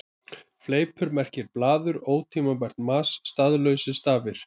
Fleipur merkir blaður, ótímabært mas, staðlausir stafir.